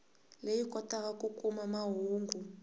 leyi kotaka ku kuma mahungu